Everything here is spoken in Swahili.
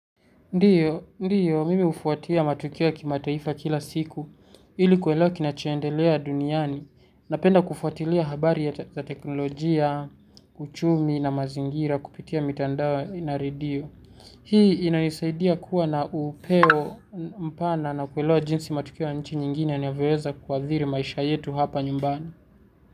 Ndiyo, mimi ufuatia matukio ya kimataifa kila siku ili kuelewa kinachoendelea duniani napenda kufuatilia habari ya teknolojia, uchumi na mazingira kupitia mitandao na redio. Hii inanisaidia kuwa na upeo mpana na kuelewa jinsi matukio ya nchi nyingine yanavyoweza kuathiri maisha yetu hapa nyumbani.